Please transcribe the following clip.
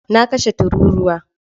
Na kashe tururuwa.